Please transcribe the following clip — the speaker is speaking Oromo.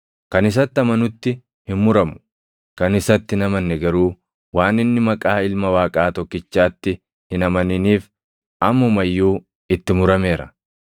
Kan isatti amanutti hin muramu; kan isatti hin amanne garuu waan inni maqaa Ilma Waaqaa tokkichaatti hin amaniniif ammuma iyyuu itti murameera.